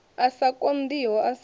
a sa konḓiho a sa